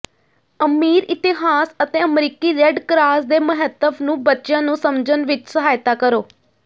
ਅਮੀਰ ਇਤਿਹਾਸ ਅਤੇ ਅਮਰੀਕੀ ਰੈੱਡ ਕਰਾਸ ਦੇ ਮਹੱਤਵ ਨੂੰ ਬੱਚਿਆਂ ਨੂੰ ਸਮਝਣ ਵਿੱਚ ਸਹਾਇਤਾ ਕਰੋ